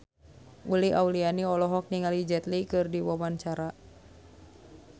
Uli Auliani olohok ningali Jet Li keur diwawancara